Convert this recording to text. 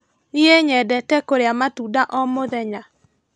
Niĩ nyendete kũrĩa matunda o mũthenya.